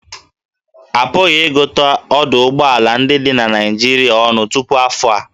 A pụghị ịgụta ọdụ ụgbọ ala ndị dị na Naịjirịa ọnụ tupu afọ a